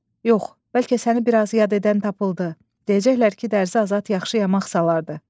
Yox, bəlkə səni biraz yad edən tapıldı, deyəcəklər ki, dərzi azad yaxşı yamaq salardı.